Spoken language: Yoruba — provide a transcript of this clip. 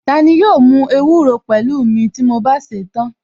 Tani yóò mú ewúro pẹ̀lú mi ti mo bá sèé tán?